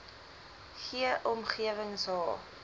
g omgewings h